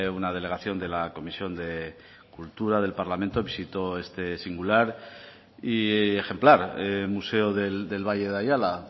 una delegación de la comisión de cultura del parlamento visitó este singular y ejemplar museo del valle de ayala